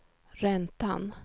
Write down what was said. räntan